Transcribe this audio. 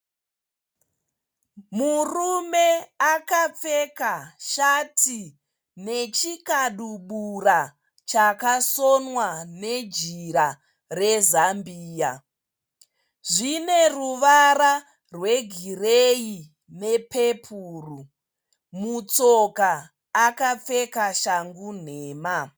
Murume akapfeka shati nechikabudura chakasonwa nejira rezambia. Zvine ruvara rwegireyi nepepuru. Mutsoka akapfeka shangu nhema.